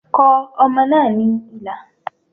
Kọ ọmọ náà ní ilà